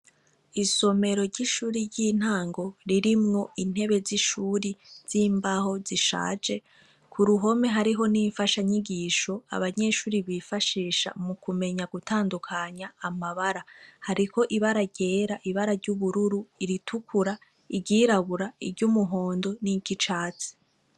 Isomero ry'ishuri ry'intango ririmwo intebe z'ishuri z'imbaho zishaje, ku ruhome hariho n'imfasha nyigisho abanyeshuri bifashisha mu kumenya gutandukanya amabara hariho ibara ryera, ibara ry'ubururu, iritukura, iryirabura, iry’umuhondo n'iry’icatsi.